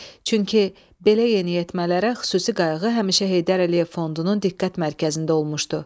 Çünki belə yeniyetmələrə xüsusi qayğı həmişə Heydər Əliyev Fondunun diqqət mərkəzində olmuşdu.